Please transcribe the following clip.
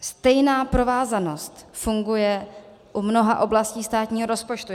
Stejná provázanost funguje u mnoha oblastí státního rozpočtu.